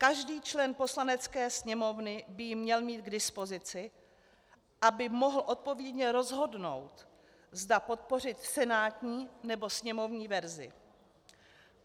Každý člen Poslanecké sněmovny by ji měl mít k dispozici, aby mohl odpovědně rozhodnout, zda podpořit senátní, nebo sněmovní verzi.